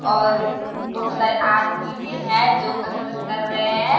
और बोहोत सारे आदमी भी हैं जो कसरत कर रहे हैं।